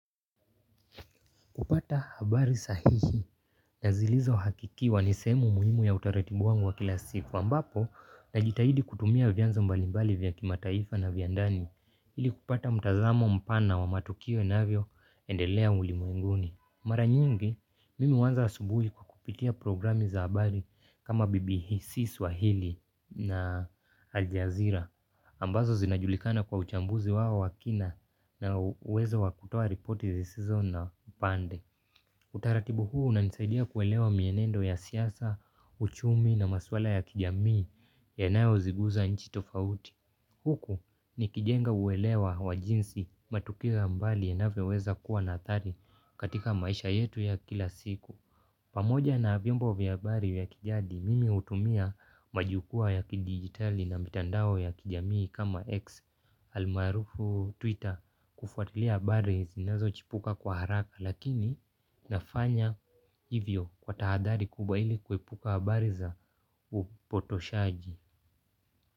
Kupata habari sahihi na zilizo hakikiwa ni sehemu muhimu ya utaratibu wangu wa kila siku ambapo najitahidi kutumia vianzo mbalimbali vya kimataifa na vya ndani ili kupata mtazamo mpana wa matukio inavyoendelea ulimwenguni. Mara nyingi, mimi huanza asubuhi kwa kupitia programi za habari kama BBC Swahili na Aljazira. Ambazo zinajulikana kwa uchambuzi wao wa kina na uwezo wa kutoa reporti zisizo na upande. Utaratibu huu unanisaidia kuelewa mienendo ya siasa, uchumi na maswala ya kijamii yanayoziguza nchi tofauti. Huku nikijenga uwelewa wa jinsi matukio ya mbali yanavyoweza kuwa na athari katika maisha yetu ya kila siku. Pamoja na vyombo vya habari ya kijadi, mimi hutumia majukua ya kidijitali na mitandao ya kijamii kama X. Almarufu Twitter kufuatilia habari zinazochipuka kwa haraka lakini nafanya hivyo kwa tahadari kubwa ili kuepuka habari za upotoshaji.